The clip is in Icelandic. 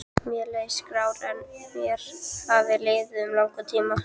Mér leið skár en mér hafði liðið um langan tíma.